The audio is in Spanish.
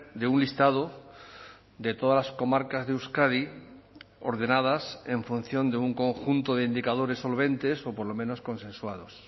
de un listado de todas las comarcas de euskadi ordenadas en función de un conjunto de indicadores solventes o por lo menos consensuados